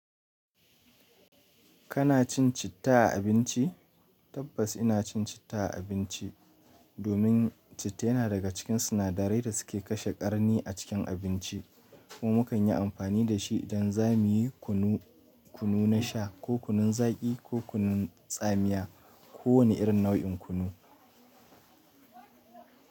Kana cin citta a abinci? Tabbas ina cin citta a abinci domin citta yana daga cikin sinadarai da suke kashe ƙarni a cikin abinci ko mukan yi amfani da shi idan za mu yi kunu, kunu na sha ko kunun zaƙi ko kunun tsamiya ko wani irin nau'in kunu.